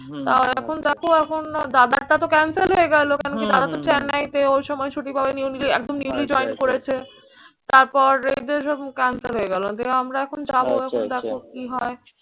তাও এখন দেখো এখন দাদারটা তো cancel হয়ে গেল কেন কি দাদা তো চেন্নাইতে, ওই সময় ছুটি পাবেনি। একদম newly join করেছে। তারপর এই যে সব ক্লান্ত হয়ে গেল। আমরা এখন যাবো এখন দেখো কি হয়।